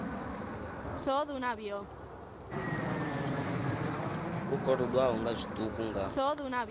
u kolodwaho nga zwiṱuku nga